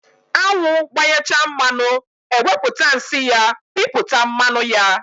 Anwụ gbanyechaa mmanụ, eweputa nsị ya piputa mmanụ ya.